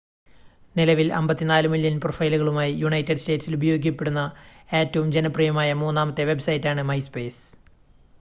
നിലവിൽ 54 മില്യൺ പ്രൊഫൈലുകളുമായി യുണൈറ്റഡ് സ്റ്റേറ്റ്സിൽ ഉപയോഗിക്കപ്പെടുന്ന ഏറ്റവും ജനപ്രിയമായ മൂന്നാമത്തെ വെബ്സൈറ്റാണ് മൈസ്പേസ്